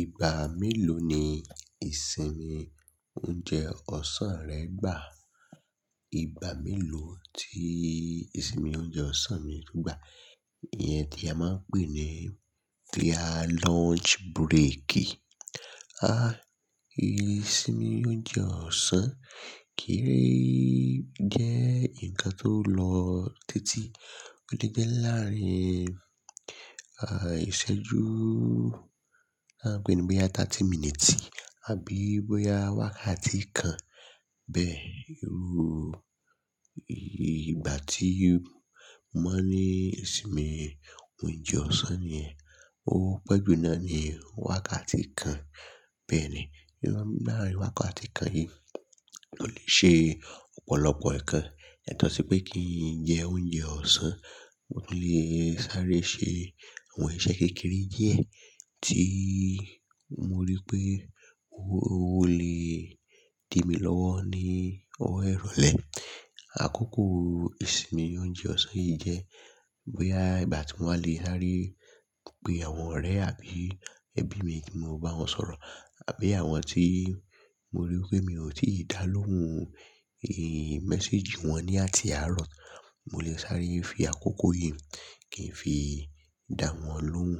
Ìgbà mélòó ni ìsinmi oúnjẹ ọ̀sán rẹ gbà? Ìgbà mélòó tí ìsinmi oúnjẹ ọ̀sán mi gbà? Iyẹn tí a máa ń pè ní clear lunch break. À, ìsinmi oúnjẹ ọ̀sán kéré jẹ́ nǹkan tó lọ tèti. Ó lè jẹ́ láàárin, à, ìṣẹ́jú, à ń pè é ní bí i yà tatí miniti, àbí bóyá wákàtí kan bẹ́ẹ̀. Irú ìgbà tí mo ní ìsinmi oúnjẹ ọ̀sán yẹn, ó pẹ́ jù náà ni wákàtí kan bẹ́ẹ̀ ni. Irú láàrin wákàtí kan yìí, mo lè ṣe ọ̀pọ̀lọpọ̀ ǹkan. Ètọ sépè kí jẹ oúnjẹ ọ̀sán, mo tún lè sáré ṣe àwọn iṣẹ́ kékeré díẹ̀ tí mo rí pé ó lè di mí lọ́wọ́ ní ọ̀wọ̀ ìrọ̀lẹ́. Àkókò ìsinmi oúnjẹ ọ̀sán yìí jẹ́ bóyá ìgbà tí mo wale lè sáré pe àwọn ọ̀rẹ́ àbí ẹbí mi tí mo bá wọn sọ̀rọ̀. Àbí àwọn tí mo rí pé mi ò tíì dá lóhùn, ín, mẹ́séjì wọn ní àti àárọ̀. Mo lè sáré fi àkókò yìí kí n fi dá wọn lóhùn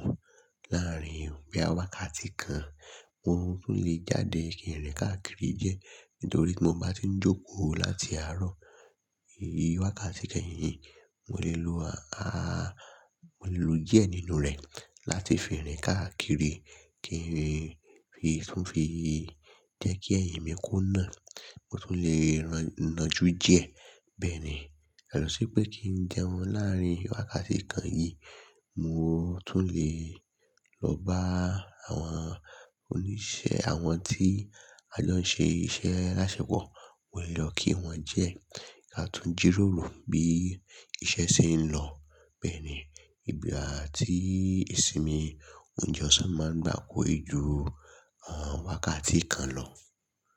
láàrin bí i wákàtí kan. Mo tún lè jáde kí n rìn káàkiri díẹ̀ nítorí tí mo bá tí ń jókòó láti àárọ̀. Ì wákàtí kẹ́yìn yìí, mo lè lo, a, mo lè lo díẹ̀ nínú rẹ̀ láti fi rìn káàkiri kí n fi tún fi jẹ́ kí ẹ̀yìn mi kó nà. Mo tún lè ràn-naajú díẹ̀ bẹ́ẹ̀ ni. Yàtọ̀ sí pè kí n jẹun láàrin wákàtí kan yìí, mo tún lè lọ bá àwọn oníṣẹ́ àwọn tí a lọ ń ṣe iṣẹ́ alaaṣepo. Mo lè lọ kí wọn diẹ ká tún jírórò bí iṣẹ́ ṣe ń lọ bẹ́ẹ̀ ni. Ìgbà tí ìsinmi oúnjẹ ọ̀sán máa ń gba kò i ju, a, wákàtí kan lọ.